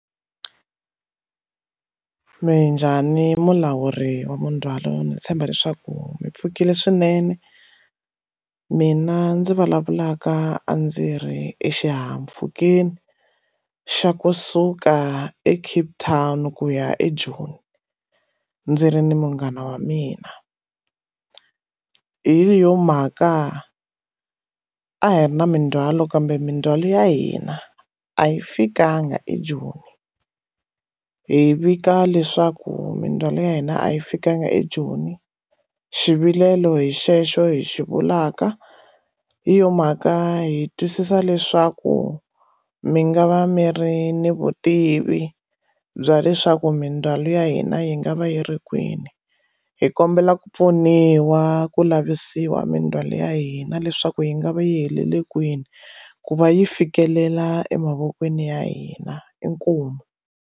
Minjhani mulawuri wa mindzhwalo ni tshemba leswaku mi pfukile swinene mina ndzi vulavulaka a ndzi ri exihahampfukeni xa kusuka e Cape Town ku ya eJoni ndzi ri ni munghana wa mina hi yo mhaka a hi ri na mindzhwalo kambe mindzwalo ya hina a yi fikanga ejoni hi vika leswaku mindzwalo ya hina a yi fikanga ejoni xivilelo hi xexo hi xivulaka hi yona mhaka hi twisisa leswaku mi nga va mi ri ni vutivi bya leswaku mindzwalo ya hina yi nga va yi ri kwini hi kombela ku pfuniwa ku lavisisa mindzwalo ya hina leswaku yi nga va yi heleli kwini ku va yi fikelela emavokweni ya hina inkomu.